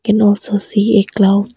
Can also see a cloud